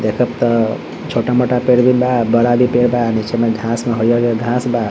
देख त छोटा मोटा पेड़ भी बा बड़ा भी पेड़ बा नीचे मे घास मे हरियर हरियर घास बा |